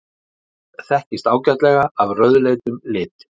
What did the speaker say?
mars þekkist ágætlega af rauðleitum lit